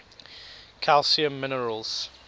calcium minerals